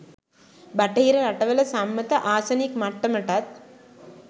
බටහිර රටවල සම්මත ආසනික් මට්ටමටත්